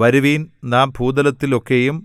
വരുവിൻ നാം ഭൂതലത്തിൽ ഒക്കെയും